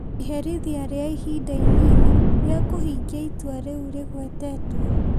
iherithia rĩa ihinda inini rĩa kũhingia itua rĩu rĩgwetwo